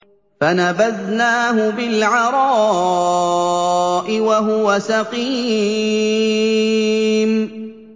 ۞ فَنَبَذْنَاهُ بِالْعَرَاءِ وَهُوَ سَقِيمٌ